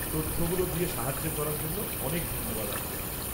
-তথ্যগুলো দিয়ে সাহায্য করার জন্য অনেক ধন্যবাদ আপনাকে।